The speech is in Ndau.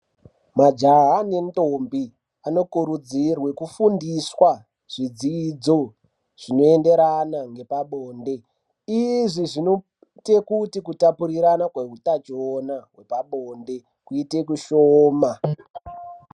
Majaha nendombi, anokurudzirwa kufundiswa zvidzidzo zvinoenderana nepabonde. Izvi zvinoita kuti kutapurirana kweutachiwana hwepabonde kuitei kushooma.